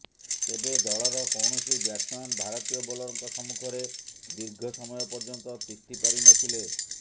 ତେବେ ଦଳର କୌଣସି ବ୍ୟାଟ୍ସମ୍ୟାନ ଭାରତୀୟ ବୋଲରଙ୍କ ସମ୍ମୁଖରେ ଦୀର୍ଘ ସମୟ ପର୍ଯ୍ୟନ୍ତ ତିଷ୍ଠି ପାରିନଥିଲେ